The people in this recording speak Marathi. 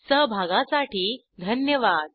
सहभागासाठी धन्यवाद